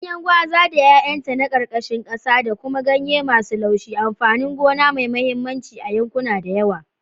Ganyen gwaza da 'ya'yanta na karkashin kasa da kuma ganye masu laushi, amfanin gona mai mahimmanci a yankuna da yawa.